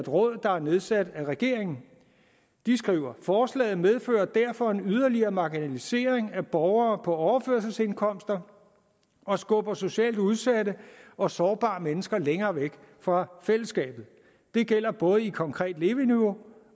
råd der er nedsat af regeringen de skriver forslaget medfører derfor en yderligere marginalisering af borgere på overførselsindkomster og skubber socialt udsatte og sårbare mennesker længere væk fra fællesskabet det gælder både i konkret leveniveau